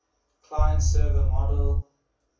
client server model